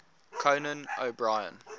conan o brien